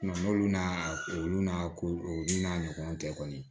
n'olu n'a olu n'a ko olu n'a ɲɔgɔnw tɛ kɔni